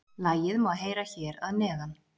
Lagið má heyra hér að neðan